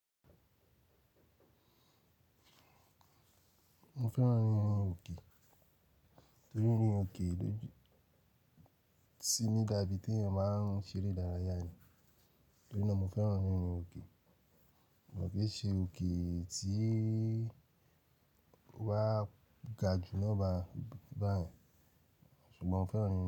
Mo fẹ́ràn rírin òkè torí rírin òkè dojú síi ní dabi tí èèyàn máa ń ṣeré dárayà ni. Torí náà mo fẹ́ràn rírin òkè. Mo mọ̀ pé ṣe òkè tí wá ga jù lọ́ba báyìí ṣùgbọ́n mo fẹ́ràn rírin òkè.